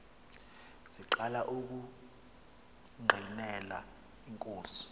siqala ukungqinela inkosi